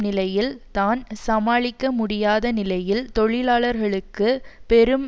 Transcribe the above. நிலையில் தான் சமாளிக்க முடியாத நிலையில் தொழிலாளர்களுக்கு பெரும்